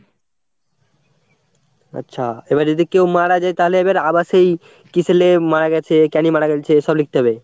আচ্ছা, এবার যদি কেউ মারা যায় তালে এবার আবার সেই কিসের লেগে মারা গেছে, কেনে মারা গেছে, সব লিখতে হবে?